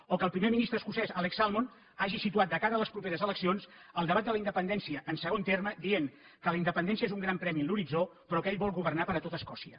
o que el primer ministre escocès alex salmond hagi situat de cara a les properes eleccions el debat de la independència en segon terme dient que la independència és un gran premi en l’horitzó però que ell vol governar per a tot escòcia